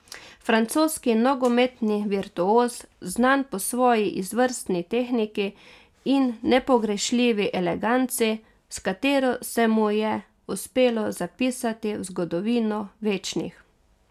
Francoski nogometni virtuoz, znan po svoji izvrstni tehniki in nepogrešljivi eleganci, s katero se mu je uspelo zapisati v zgodovino večnih.